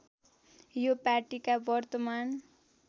यो पाटीका वर्तमान